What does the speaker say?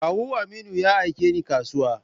Kawu Aminu ya aike ni kasuwa.